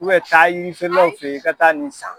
taa yirifeerelaw fɛ ye i ka taa nin san.